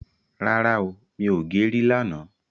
ràrá ọ mí ọ gé rí là nà.